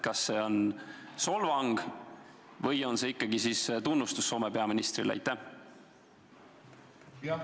Kas see on solvang või on see ikkagi tunnustus Soome peaministrile?